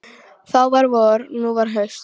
Þá var vor, nú var haust.